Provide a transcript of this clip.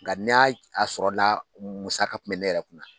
Nka n'a a sɔrɔ la musaka tun bɛ ne yɛrɛ kunna